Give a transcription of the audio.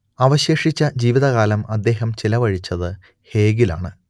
അവശേഷിച്ച ജീവിതകാലം അദ്ദേഹം ചെലവഴിച്ചത് ഹേഗിലാണ്